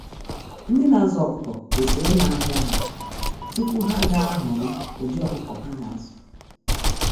Ndị na azụ ọkụkọ kwesịrị ịma ahịa ha tupu ha ga ahọorọ ụdị ọkụkọ ha ga azụ.